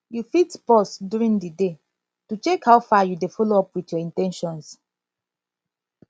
you fit pause during di day to check how far you dey follow up with your in ten tions